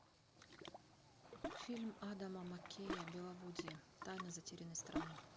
фильм адама маккея беловодье тайна затерянной страны